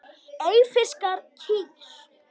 Eyfirskar kýr.